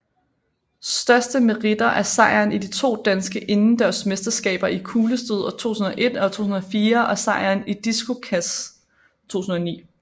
Største meriter er sejren i de to danske indendørs mesterskaber i kuglestød 2001 og 2004 og sejren i diskoskast 2009